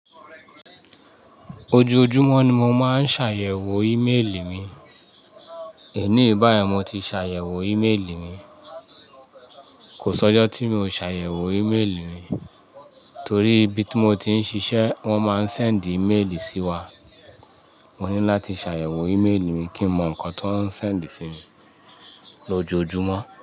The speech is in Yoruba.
Ojoojumọ ni mo máa ń ṣàyẹ̀wò ímeèlì mi. Èní bá yẹn mo ti ṣàyẹ̀wò ímeèlì mi. Kò sọ́jọ́ tí mi ò ṣàyẹ̀wò ímeèlì mi, torí ibi tí mo ti ń ṣiṣẹ́ wọ́n máa ń sẹ́ǹdì ímeèlì sí wa. Mo ní láti ṣàyẹ̀wò ímeèlì mi kí ń mọ nǹkan tó ń sẹ́ǹdì sí mi lójoojumọ́